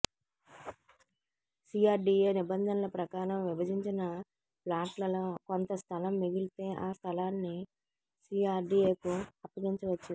CRDA నిబంధనల ప్రకారం విభజించిన ప్లాట్లలో కొంత స్థలం మిగిలితే ఆ స్థలాన్ని సిఆర్డిఎకు అప్పగించవచ్చు